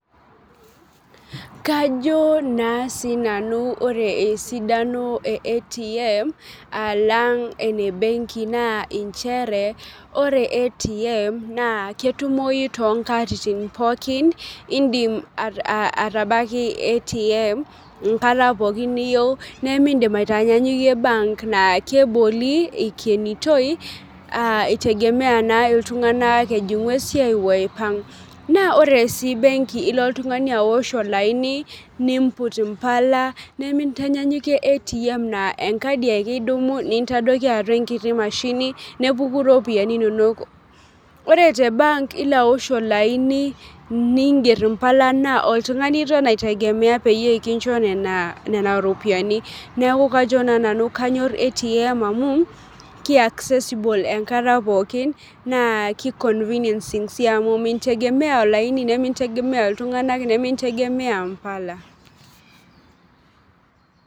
Kajo naa sinanu ore esidanon e ATM alang' ene benki naa nchere ore ATM naa ketumoyu toonkatitin pookin niyuieu nemiidim nanyanyukie bank naa keboli ikenitoi itegemea a